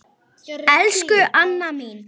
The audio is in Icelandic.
Elsku Anna mín.